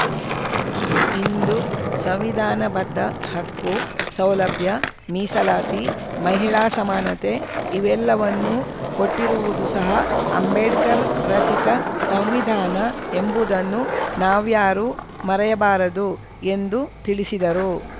ಇಂದು ಸಂವಿಧಾನಬದ್ಧ ಹಕ್ಕು ಸೌಲಭ್ಯ ಮೀಸಲಾತಿ ಮಹಿಳಾ ಸಮಾನತೆ ಇವೆಲ್ಲವನ್ನೂ ಕೊಟ್ಟಿರುವುದು ಸಹ ಅಂಬೇಡ್ಕರ್‌ ರಚಿತ ಸಂವಿಧಾನ ಎಂಬುದನ್ನು ನಾವ್ಯಾರೂ ಮರೆಯಬಾರದು ಎಂದು ತಿಳಿಸಿದರು